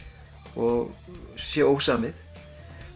og sé ósamið